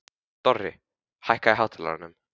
Dorri, hækkaðu í hátalaranum.